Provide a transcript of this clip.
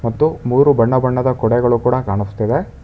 ಮತ್ತು ಮೂರು ಬಣ್ಣ ಬಣ್ಣದ ಕೊಡೆಗಳು ಕೂಡ ಕಾಣಸ್ತಿದೆ.